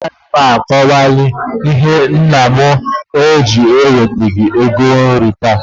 A gaghị m a kọwanwu ìhè méré na nnà m ewetaghi égo nri taa